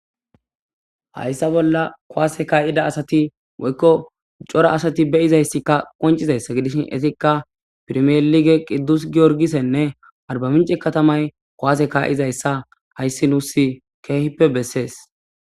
Hayisa bollan ku'ase ka'iza woyiko coora asati beizays qonice gidishin etika perimelikenee qidus gorigise aribamiche katamay ku'ase ka'izaysa hayis besay kehipe beses